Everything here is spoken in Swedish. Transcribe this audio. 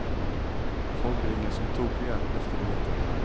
Folk ringer som tokiga efter biljetter.